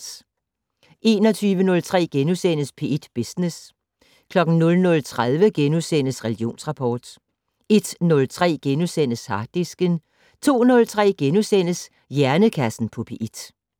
21:03: P1 Business * 00:30: Religionsrapport * 01:03: Harddisken * 02:03: Hjernekassen på P1 *